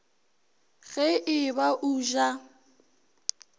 ge e ba o ja